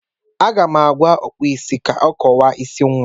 Aga m agwa Ọkpụụ isi ka ọ kọwaa isi nwa m.